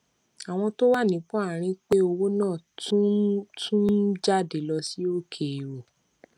àwọn tó wà nípò àárín pẹ owó náà tún ń tún ń jáde lọ sí òkèèrò